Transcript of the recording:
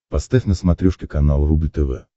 поставь на смотрешке канал рубль тв